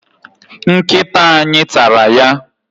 Nkịta anyị tara ya.